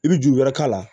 I bɛ juru wɛrɛ k'a la